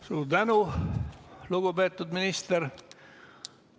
Suur tänu, lugupeetud minister!